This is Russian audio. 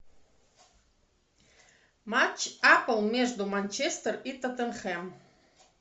матч апл между манчестер и тоттенхэм